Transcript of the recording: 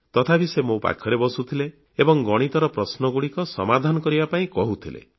ତଥାପି ସେ ମୋ ପାଖରେ ବସୁଥିଲେ ଏବଂ ଗଣିତ ପ୍ରଶ୍ନଗୁଡ଼ିକ ସମାଧାନ କରିବା ପାଇଁ କହୁଥିଲେ